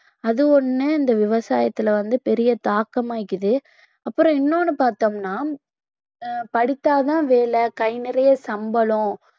அது ஒண்ணு இந்த விவசாயத்தில வந்து பெரிய தாக்கம் ஆயிக்குது அப்புறம் இன்னொன்னு பார்த்தோம்னா அஹ் படித்தால்தான் வேலை கை நிறைய சம்பளம்